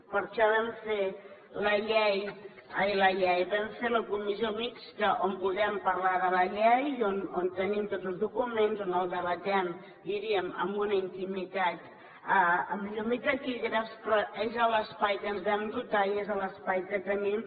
per això vam fer la comissió mixta on podem parlar de la llei i on tenim tots els documents on ho debatem diríem amb una intimitat amb llum i taquígrafs però és l’espai de què ens vam dotar i és l’espai que tenim